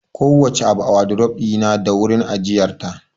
Kowace abu a wadurof ɗina da wurin ajiyar ta